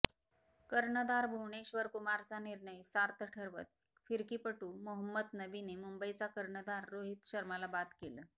कर्णधार भुवनेश्वर कुमारचा निर्णय सार्थ ठरवत फिरकीपटू मोहम्मद नबीने मुंबईचा कर्णधार रोहित शर्माला बाद केलं